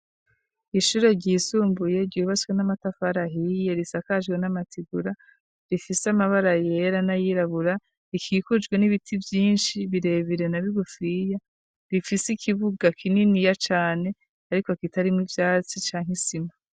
Ishure ryisumbuye ryubatswe n'amatafari ahiye risakajwe n'amategura, rifise amabara yera n'ayirabura ikikujwe n'ibiti vyinshi birebire na bigufiya, bifise ikibuga kininiya cane ariko kitarimwo ivyatsi canke isima.